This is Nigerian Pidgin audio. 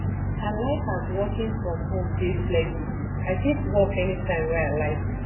i like as working from home dey flexible i fit work anytime wey i like